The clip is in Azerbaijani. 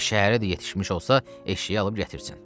Elə şəhərə də yetişmiş olsa, eşşəyi alıb gətirsən.